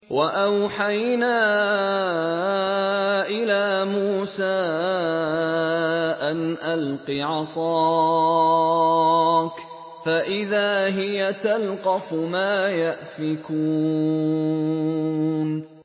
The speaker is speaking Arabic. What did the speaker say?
۞ وَأَوْحَيْنَا إِلَىٰ مُوسَىٰ أَنْ أَلْقِ عَصَاكَ ۖ فَإِذَا هِيَ تَلْقَفُ مَا يَأْفِكُونَ